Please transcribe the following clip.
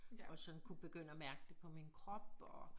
Og sådan kunne begynde at mærke det på min krop og